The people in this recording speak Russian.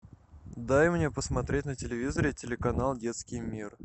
дай мне посмотреть на телевизоре телеканал детский мир